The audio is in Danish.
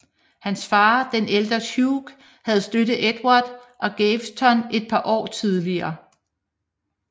Hans far den ældre Hugh havde støttet Edvard og Gaveston et par år tidligere